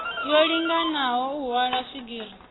yo linganaho u hwala swigiri